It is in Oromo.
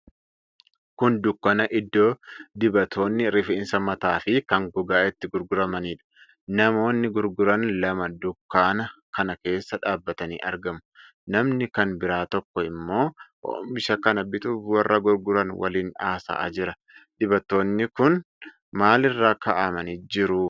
Kun dukkaana iddoo dibatoonni rifeensa mataa fi kan gogaa itti gurguramanidha. Namoonni gurguran lama dukkaana kana keessa dhaabbatanii argamu. Namni kan biraa tokkoo ammoo oomisha kana bituuf warra gurguran waliin haasa'aa jira? Dibatoonni kun maal irra kaa'amanii jiru?